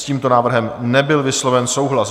S tímto návrhem nebyl vysloven souhlas.